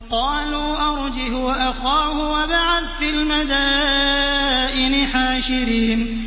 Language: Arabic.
قَالُوا أَرْجِهْ وَأَخَاهُ وَابْعَثْ فِي الْمَدَائِنِ حَاشِرِينَ